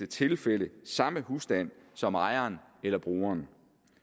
tilfælde samme husstand som ejeren eller brugeren